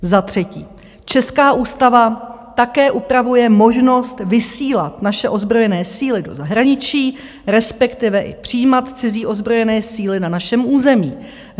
Za třetí: Česká ústava také upravuje možnost vysílat naše ozbrojené síly do zahraničí, respektive i přijímat cizí ozbrojené síly na našem území.